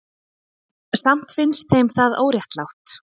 Samt finnst þeim það óréttlátt.